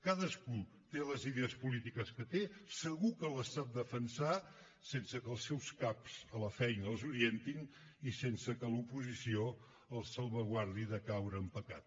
cadascú té les idees polítiques que té segur que les sap defensar sense que els seus caps a la feina els orientin i sense que l’oposició els salvaguardi de caure en pecat